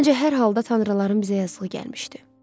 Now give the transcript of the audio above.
Məncə hər halda tanrıların bizə yazığı gəlmişdi.